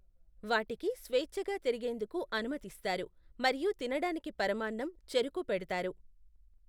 వాటికి స్వేచ్ఛగా తిరిగేందుకు అనుమతిస్తారు, మరియు తినడానికి పరమాన్నం, చెరకు పెడతారు.